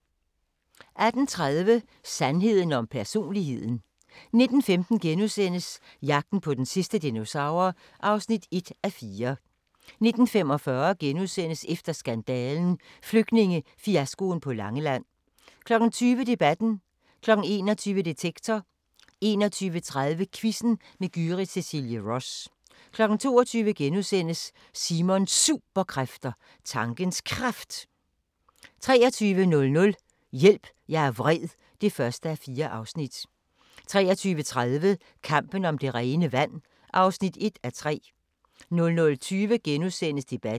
18:30: Sandheden om personligheden 19:15: Jagten på den sidste dinosaur (1:4)* 19:45: Efter skandalen – Flygtningefiaskoen på Langeland * 20:00: Debatten 21:00: Detektor 21:30: Quizzen med Gyrith Cecilie Ross 22:00: Simons Superkræfter: Tankens Kraft * 23:00: Hjælp, jeg er vred (1:4) 23:30: Kampen om det rene vand (1:3) 00:20: Debatten *